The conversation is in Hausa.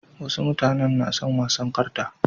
Wasu mutanen na son wasan karta.